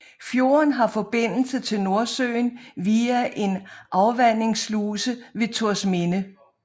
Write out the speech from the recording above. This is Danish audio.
Fjorden har forbindelse til Nordsøen via en afvandingssluse ved Torsminde